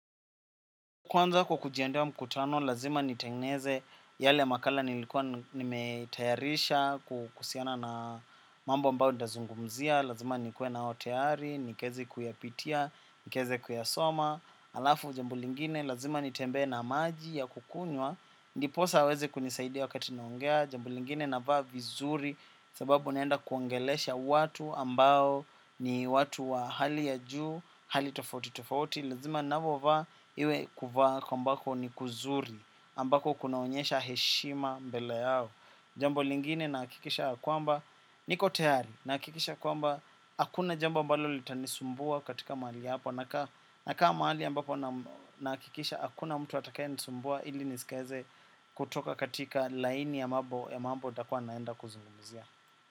Kwanza kwa kujiendea mkutano, lazima nitengeneze yale makala nilikuwa nimetayarisha kuhusiana na mambo ambayo tutazungumzia, lazima nikue nao tayari, nikaeze kuyapitia, nikaeze kuyasoma, alafu jambo lingine, lazima nitembee na maji ya kukunywa, ndiposa aweze kunisaidia wakati naongea, jambo lingine navaa vizuri, sababu naenda kuongelesha watu ambao ni watu wa hali ya juu, hali tofauti tofauti, lazima navovaa, iwe kuvaa ambako ni kuzuri ambako kunaonyesha heshima mbele yao jambo lingine nahakikisha ya kwamba niko tayari nahakikisha kwamba hakuna jambo ambalo litanisumbua katika mahali hapo nakaa mahali ambapo nahakikisha hakuna mtu atakayenisumbua ili nisikaeze kutoka katika laini ya mambo ya mambo nitakua naenda kuzungumzia.